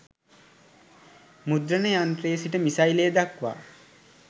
මුද්‍රණ යන්ත්‍රයේ සිට මිසයිලය දක්වා